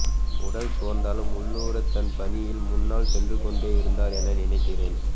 உடல் சோர்ந்தாலும் உள்ளூர தன் பணியில் முன்னால்சென்றுகொண்டே இருந்தார் என நினைக்கிறேன்